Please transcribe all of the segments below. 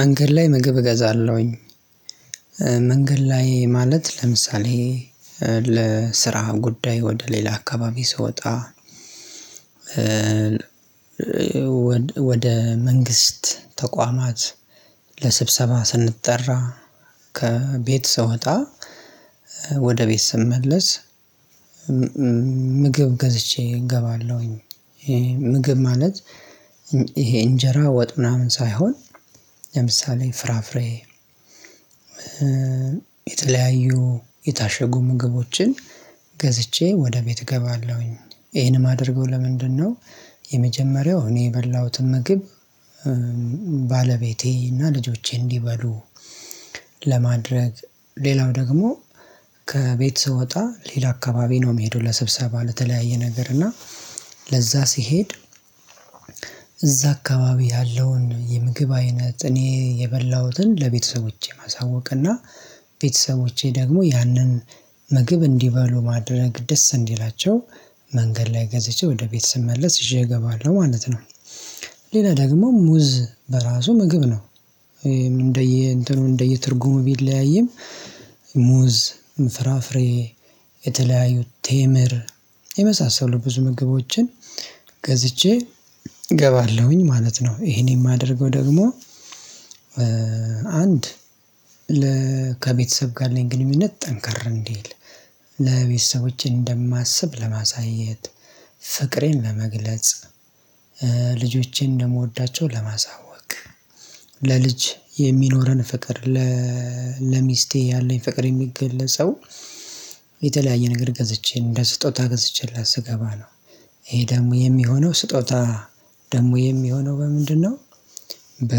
መንገድ ላይ ምግብ እገዛለሁኝ። መንገድ ላይ ማለት ለምሳሌ ለስራ ጉዳይ ወደ ሌላ አካባቢ ስወጣ። ወደ መንግስት ተቋማት ለስብሰባ ስንጠራ፣ ከቤት ስወጣ፣ ወደ ቤት ስመለስ ምግብ ገዝቼ እገባለሁኝ። ምግብ ማለት ይሄ እንጀራ ወጥ ምናምን ሳይሆን ለምሳሌ ፍራፍሬ። የተለያዩ የታሸጉ ምግቦችን ገዝቼ ወደ ቤት እገባለሁኝ። ይሄንም አድርገው ለምንድነው? የመጀመሪያው እኔ የበላሁትን ምግብ ባለቤቴና ልጆቼ እንዲበሉ ለማድረግ። ሌላው ደግሞ ከቤት ስወጣ ሌላ አካባቢ ነው የምሄደው ለስብሰባ ለተለያየ ነገር እና ለዛ ስሄድ። እዛ አካባቢ ያለውን የምግብ አይነት እኔ የበላሁትን ለቤተሰቦቼ ማሳወቅ እና ቤተሰቦቼ ደግሞ ያንን ምግብ እንዲበሉ ማድረግ ደስ እንዲላቸው መንገድ ላይ ገዝቼ ወደ ቤት ስመለስ ይዤ እገባለሁ ማለት ነው። ሌላ ደግሞ ሙዝ በራሱ ምግብ ነው። እንደየ እንትኑ እንደየ ትርጉሙ ቢለያይም። ሙዝ ፍራፍሬ የተለያዩ ቴምር የመሳሰሉ ብዙ ምግቦችን ገዝቼ እገባለሁኝ ማለት ነው ይሄን የማደርገው ደግሞ። አንድ ከቤተሰብ ጋር ያለኝ ግንኙነት ጠንከር እንዲል ለቤተሰቦቼ እንደማስብ ለማሳየት ፍቅሬን ለመግለጽ። ልጆቼን እንደምወዳቸው ለማሳወቅ ለልጅ የሚኖረን ፍቅር። ለሚስቴ ያለኝ ፍቅር የሚገለጸው የተለያየ ነገር ገዝቼ እንደ ስጦታ ገዝቼላት ስገባ ነው። ይሄ ደግሞ የሚሆነው ስጦታ ደግሞ የሚሆነው በምንድነው? በ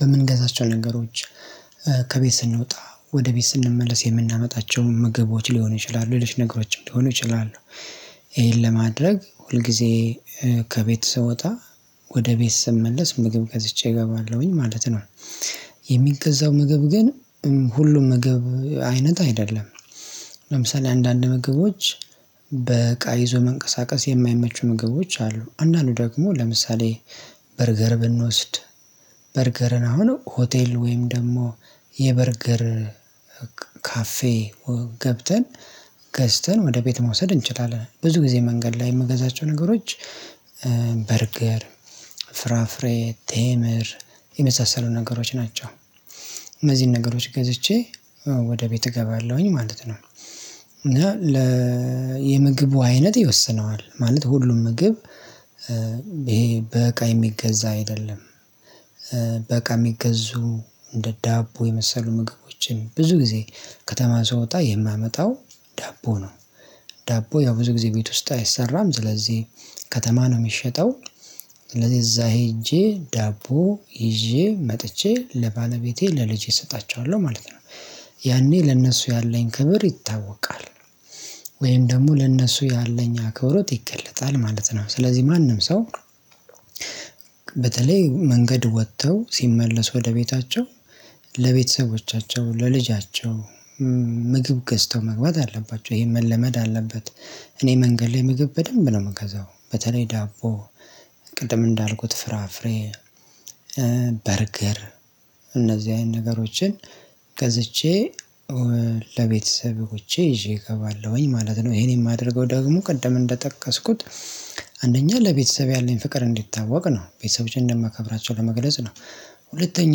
በምንገዛቸው ነገሮች ከቤት ስንወጣ ወደ ቤት ስንመለስ የምናመጣቸው ምግቦች ሊሆኑ ይችላሉ ሌሎች ነገሮችን ሊሆኑ ይችላሉ። ይሄን ለማድረግ ሁል ጊዜ ከቤት ስወጣ ወደ ቤት ስመለስ ምግብ ገዝቼ እገባለሁኝ ማለት ነው። የሚገዛው ምግብ ግን ሁሉም ምግብ አይነት አይደለም። ለምሳሌ አንዳንድ ምግቦች በእቃ ይዞ መንቀሳቀስ የማይመቹ ምግቦች አሉ አንዳንዱ ደግሞ ለምሳሌ በርገር ብንወስድ በርገርን አሁን ሆቴል ወይም ደግሞ የበርገር ካፌ ገብተን ገዝተን ወደ ቤት መውሰድ እንችላለን። ብዙ ጊዜ መንገድ ላይ የምገዛቸው ነገሮች። በርገር ፍራፍሬ ቴምር የመሳሰሉ ነገሮች ናቸው እዚህን ነገሮች ገዝቼ ወደ ቤት እገባለሁኝ ማለት ነው። እና ለ የምግቡ አይነት ይወስነዋል ማለት ሁሉም ምግብ ይሄ በእቃ የሚገዛ አይደለም። በእቃ የሚገዙ እንደ ዳቦ የመሰሉ ምግቦችን ብዙ ጊዜ ከተማ ስወጣ የማመጣው ዳቦ ነው። ዳቦ ያው ብዙ ጊዜ ቤት ውስጥ አይሰራም ስለዚህ ከተማ ነው የሚሸጠው። ስለዚህ እዛ ሄጄ ዳቦ ይዤ መጥቼ ለባለቤቴ ለልጄ እሰጣቸዋለሁ ማለት ነው። ያኔ ለእነሱ ያለኝ ክብር ይታወቃል። ወይም ደግሞ ለእነሱ ያለኝ አክብሮት ይገለጣል ማለት ነው። ስለዚህ ማንም ሰው በተለይ መንገድ ወጥተው ሲመለሱ ወደ ቤታቸው ለቤተሰቦቻቸው ለልጃቸው ምግብ ገዝተው መግባት አለባቸው ይሄን መለመድ አለበት። እኔ መንገድ ላይ ምግብ በደንብ ነው የምገዛው በተለይ ዳቦ ቅድም እንዳልኩት ፍራፍሬ በርገር እነዚህ አይነት ነገሮችን ገዝቼ ለቤተሰቦቼ ይዤ እገባለሁኝ ማለት ነው። ይሄን የማደርገው ደግሞ ቀደም እንደጠቀስኩት አንደኛ ለቤተሰብ ያለኝ ፍቅር እንዲታወቅ ነው ቤተሰቦቼን እንደማከብራቸው ለመግለጽ ነው። ሁለተኛ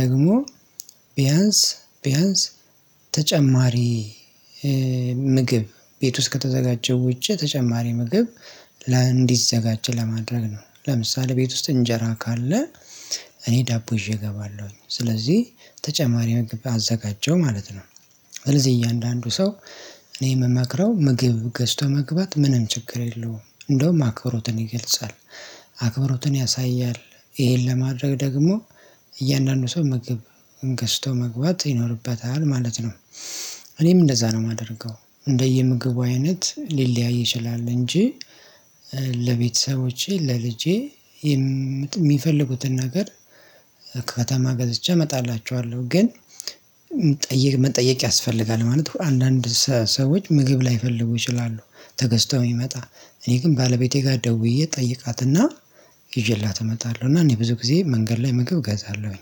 ደግሞ ቢያንስ ቢያንስ ተጨማሪ ምግብ ቤት ውስጥ ከተዘጋጀው ውጪ ተጨማሪ ምግብ እንዲዘጋጀ ለማድረግ ነው። ለምሳሌ ቤት ውስጥ እንጀራ ካለ እኔ ዳቦ ይዤ እገባለሁኝ ስለዚህ ተጨማሪ ምግብ አዘጋጀሁ ማለት ነው። ስለዚህ እያንዳንዱ ሰው እኔ የምመክረው ምግብ ገዝቶ መግባት ምንም ችግር የለውም እንደውም አክብሮትን ይገልጻል። አክብሮትን ያሳያል ይሄን ለማድረግ ደግሞ እያንዳንዱ ሰው ምግብን ገዝቶ መግባት ይኖርበታል ማለት ነው። እኔም እንደዛ ነው የማደርገው እንደየምግቡ አይነት ሊለያይ ይችላል እንጂ። ለቤተሰቦቼ ለልጄ የሚፈልጉትን ነገር ከተማ ገዝቼ አመጣላቸዋለሁ ግን። ጠይቅ መጠየቅ ያስፈልጋል ማለት ነው። አንዳንድ ሰዎች ምግብ ላይፈልጉ ይችላሉ። ተገዝተው የሚመጣ እኔ ግን ባለቤቴ ጋር ደውዬ ጠይቃትና ይዤላት እመጣለሁ። እና እኔ ብዙ ጊዜ መንገድ ላይ ምግብ እገዛለሁኝ